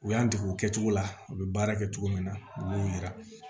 U y'an dege o kɛcogo la u bɛ baara kɛ cogo min na u b'o yira